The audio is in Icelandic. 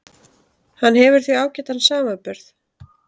Hann hefur því ágætan samanburð